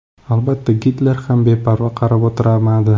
Albatta, Gitler ham beparvo qarab o‘tirmadi.